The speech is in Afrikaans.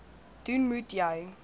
doen moet jy